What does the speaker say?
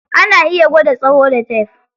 Ana iya gwada tsayo da tef.